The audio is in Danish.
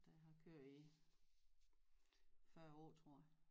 Der har kørt i 40 år tror jeg